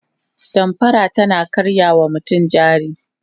damfara tana karya wa mutane jari